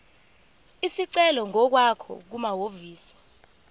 isicelo ngokwakho kumahhovisi